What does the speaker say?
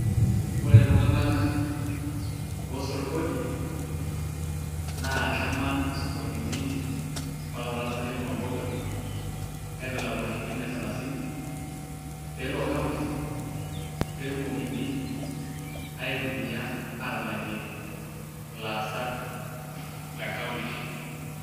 Ore iltung'anak oosotu kodi naa keman isokonini mpaka kuna tasati e mama mboga aiatalaku nena shirinini osalasini peelo county netumokini aitumiaa aalakie ilaasak le county.